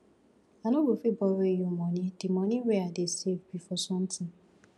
i no go fit borrow you money the money wey i dey save be for something